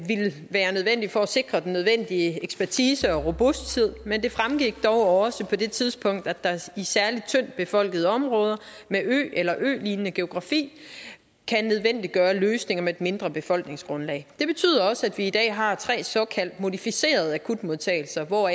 være nødvendigt for at sikre den nødvendige ekspertise og robusthed men det fremgik dog også på det tidspunkt at særlig tyndt befolkede områder med øer eller ølignende geografi kan nødvendiggøre løsninger med et mindre befolkningsgrundlag det betyder også at vi i dag har tre såkaldt modificerede akutmodtagelser hvor